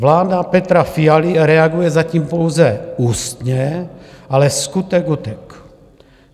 Vláda Petra Fialy reaguje zatím pouze ústně, ale skutek utek.